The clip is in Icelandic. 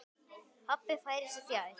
Pabbi færir sig fjær.